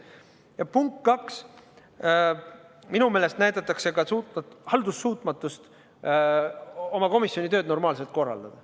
Ja punkt kaks, minu meelest näidatakse sellega ka haldussuutmatust oma komisjoni tööd normaalselt korraldada.